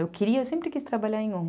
Eu queria, eu sempre quis trabalhar em ongue.